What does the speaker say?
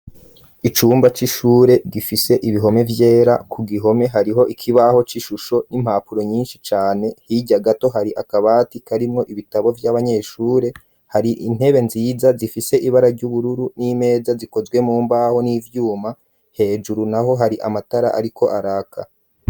Icumba c'ishure gifishe ibihome byera ku gihome hariho ikibaho cy'ishusho n'impapuro nyinshi cyane hijya gato hari akabati karimwo ibitabo by'abanyeshure hari intebe nziza zifise ibara ry'ubururu n'imeza zikozwe mu mbaho n'ivyuma hejuru naho hari amatara ariko araka.